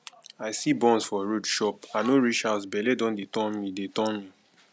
i see buns for road chop i no reach house bele don dey turn me dey turn me